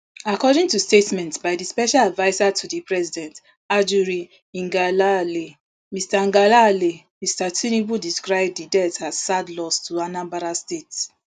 according to statement by di special adviser to di president ajuri ngelale mr ngelale mr tinubu describe di death as sad loss to anambra state